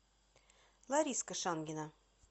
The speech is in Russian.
лариска шангина